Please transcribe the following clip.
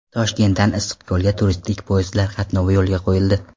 Toshkentdan Issiqko‘lga turistik poyezdlar qatnovi yo‘lga qo‘yildi.